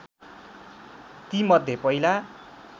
ती मध्ये पहिला